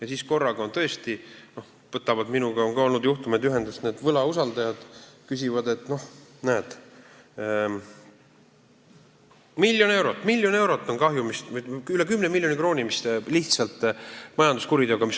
Ja on olnud juhtumeid, kus minuga võtavad ühendust võlausaldajad ja küsivad, et näed, majanduskuriteo tõttu on mul miljon eurot tulnud kahjumisse kanda, või isegi üle 10 miljoni krooni.